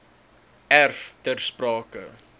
erf ter sprake